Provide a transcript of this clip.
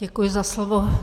Děkuji za slovo.